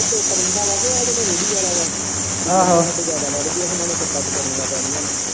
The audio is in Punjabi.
ਚੁੱਪ ਰਹਿੰਦਾ ਵਾ ਤੇ ਆ ਜੇੜਾ ਰੇੜੀ ਵਾਲਾ ਵਾ ਜਿਆਦਾ ਵੱਧਗੇ ਹੁਣ ਉਨੂੰ ਕਿੱਟਾਂ ਬਚਾਣੀਆਂ ਪੈਣੀਆ ਐ।